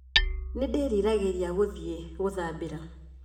Nĩndĩriragĩria gũthiĩ gũthambĩra